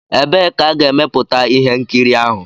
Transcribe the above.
Ebee ka a ga-emeputa ihe nkiri ahụ?